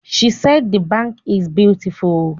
She said the bank is beautiful